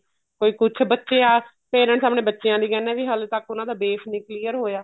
ਕੋਈ ਕੁੱਝ ਬੱਚੇ ਆ parents ਆਪਣੇ ਬੱਚਿਆਂ ਲਈ ਕਹਿਨੇ ਏ ਕੀ ਹਲੇ ਤੱਕ ਉਹਨਾ ਦਾ base ਨੀ clear ਹੋਇਆ